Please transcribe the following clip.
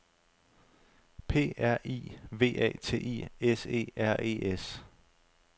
P R I V A T I S E R E S